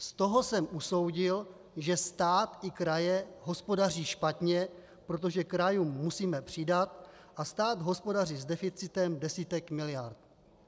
Z toho jsem usoudil, že stát i kraje hospodaří špatně, protože krajům musíme přidat a stát hospodaří s deficitem desítek miliard.